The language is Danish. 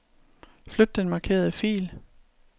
Flyt den markerede fil.